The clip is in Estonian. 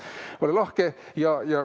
Ole lahked!